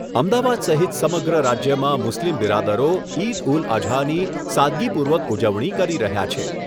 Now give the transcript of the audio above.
અમદાવાદ સહિત સમગ્ર રાજ્યમાં મુસ્લિમ બિરાદરો ઇદ ઉલ અઝાની સાદગીપૂર્વક ઉજવણી કરી રહ્યા છે.